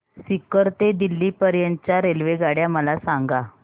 सीकर ते दिल्ली पर्यंत च्या रेल्वेगाड्या मला सांगा